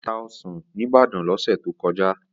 Ó ta ọsàn ní Ibadan lọ́sẹ̀ tó kọjá.